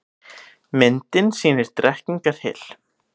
Myndin sýnir Drekkingarhyl.